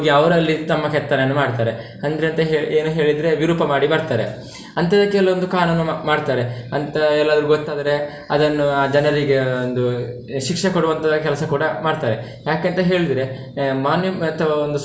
ಅವರಲ್ಲಿ ತಮ್ಮ ಕೆತ್ತನೆಯನ್ನು ಮಾಡ್ತಾರೆ. ಅಂದ್ರೆ ಎಂತ ಹೇಳಿ ಏನು ಹೇಳಿದ್ರೆ ವಿರೂಪ ಮಾಡಿ ಬರ್ತಾರೆ, ಅಂತದಕ್ಕೆಲ್ಲಾ ಒಂದು ಕಾನೂನು ಮಾ~ ಮಾಡ್ತಾರೆ, ಅಂತ ಎಲ್ಲಾದ್ರೂ ಗೊತ್ತಾದ್ರೆ ಅದನ್ನು ಆ ಜನರಿಗೆ ಒಂದು ಶಿಕ್ಷೆ ಕೊಡುವಂತದ ಕೆಲ್ಸ ಕೂಡ ಮಾಡ್ತಾರೆ, ಯಾಕಂತ ಹೇಳಿದ್ರೆ monume~ ಅಥವಾ ಒಂದು.